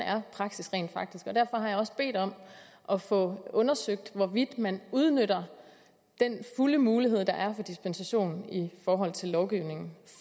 praksis rent faktisk er derfor har jeg også bedt om at få undersøgt hvorvidt man udnytter den mulighed der er for dispensation i forhold til lovgivningen